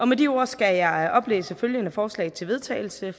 med de ord skal jeg oplæse følgende forslag til vedtagelse